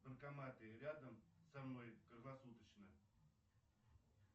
банкоматы рядом со мной круглосуточно